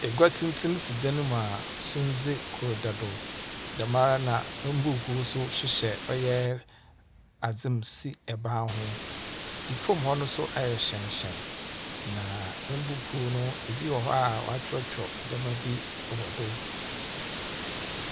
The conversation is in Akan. Egwa tsentsen si dan mu a sundze kor da do. Dɛm ara na mbuukuu so hyehyɛ ɔyɛ adze mu wɔ ban ho. Efom hɔ no wayɛ hyɛnhyɛn. Na mbuukuu no ebimo wɔ hɔ a wakyerɛkyerɛw ndzɛma bi wɔ do.